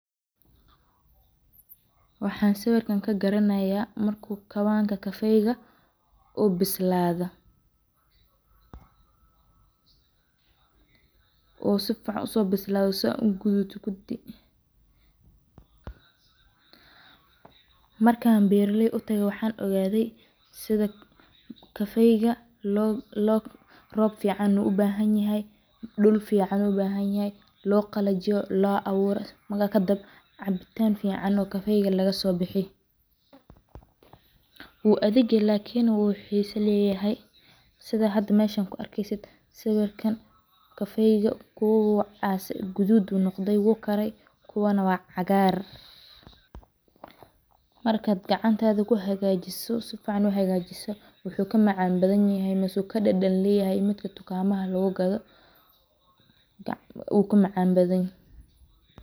Waxa sawirkan kagaranaya marku kawanka kofeyga uu bislado sidan uguduto, markan beraley utage waxan ogade kafeyga rob fican ubahanyahy dhuul fican ubahanyahay loqalajiyo oo cabitan fican lagasosaro wu adhagye lakin wu xiso leyahay sida hda arkey sawirkan kafeyga kuwa guduud ayu noqde kuwana cagar markad cagantada kuhagajiso oo sifican uhagajiso wuxu kamacanbadan kuwa dukadama lugugado.